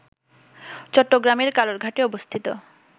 চট্টগ্রামের কালুরঘাটে অবস্থিত